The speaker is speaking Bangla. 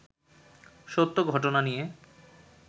সত্য ঘটনা নিয়ে